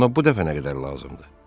Ona bu dəfə nə qədər lazımdır?